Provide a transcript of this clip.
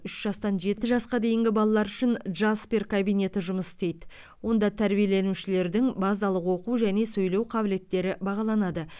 үш жастан жеті жасқа дейінгі балалар үшін джаспер кабинеті жұмыс істейді онда тәрбиеленушілердің базалық оқу және сөйлеу қабілеттері бағаланады